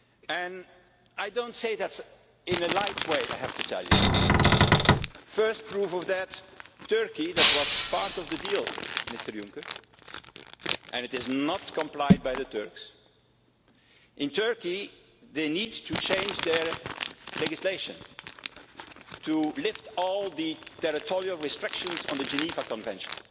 And I do not say that in a light way, I have to tell you. First proof of that in Turkey that was part of the deal, Mr Juncker, and it is not being complied with by the Turks they need to change their legislation to lift all the territorial restrictions on the Geneva Convention